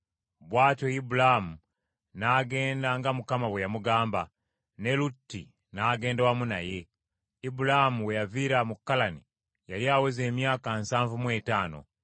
Bw’atyo Ibulaamu n’agenda nga Mukama bwe yamugamba, ne Lutti n’agenda wamu naye. Ibulaamu we yaviira mu Kalani yali aweza emyaka nsanvu mu etaano.